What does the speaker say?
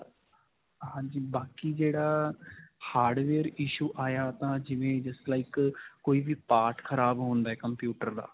ਹਾਂਜੀ, ਬਾਕੀ ਜਿਹੜਾ hardware issue ਆਇਆ ਤਾਂ ਜਿਵੇਂ just like ਅਅ ਕੋਈ ਵੀ part ਖਰਾਬ ਹੁੰਦਾ ਹੈ computer ਦਾ.